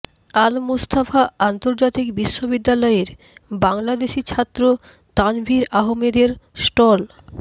আল Mustafa আন্তর্জাতিক বিশ্ববিদ্যালয়ের বাংলাদেশি ছাত্র তানভীর আহমেদের স্টল